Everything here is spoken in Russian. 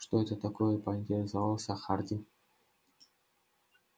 что это такое поинтересовался хардин